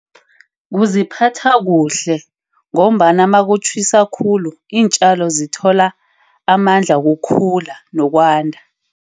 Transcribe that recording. Kuziphatha kuhle ngombana makutjhisa khulu iintjalo zithola amandla kukhula nokwanda.